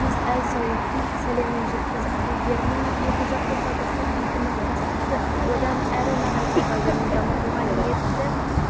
әзиз әл саудтың сәлемін жеткізіп елдерінің екіжақты табысты ынтымақтастықты одан әрі нығайтуға және дамытуға ниетті